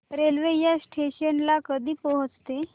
railway या station ला कधी पोहचते